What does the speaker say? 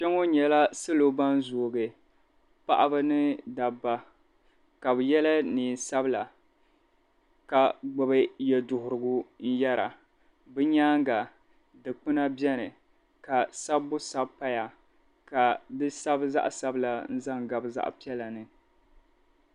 Kpɛŋɔ nyɛla salo ban zoogi paɣiba ni dabba ka bɛ yɛla neen' sabila ka gbibi yɛduhirigu n-yɛra. Bɛ nyaaŋga dikpina beni ka sabbu sabi paya ka di sabi zaɣ' sabila n-zaŋ gabi zaɣ' piɛla ni.